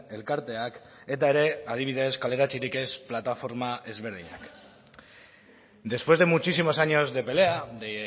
elkarteak eta ere adibidez kaleratzerik ez plataforma ezberdinak después de muchísimos años de pelea de